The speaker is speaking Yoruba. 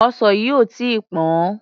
Ọsàn yìí ò tí ì pọ̀n-ọ́n.